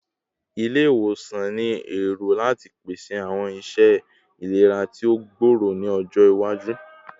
Ile-iwosan ni ero lati pese awọn iṣẹ ilera ti o gbooro ni ọjọ iwaju